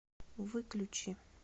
выключи